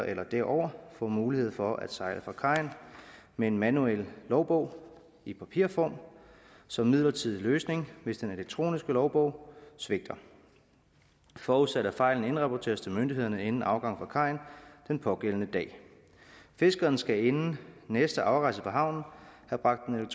eller derover får mulighed for at sejle fra kajen med en manuel logbog i papirform som midlertidig løsning hvis den elektroniske logbog svigter forudsat at fejlen indrapporteres til myndighederne inden afgang fra kajen den pågældende dag fiskeren skal inden næste afrejse fra havnen